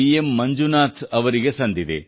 M Manjunath ಅವರಿಗೆ ಸಂದಿದೆ